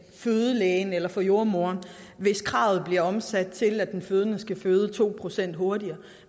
fødelægen eller for jordemoderen hvis kravet bliver omsat til at den fødende skal føde to procent hurtigere